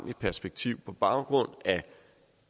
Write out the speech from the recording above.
i et perspektiv på baggrund af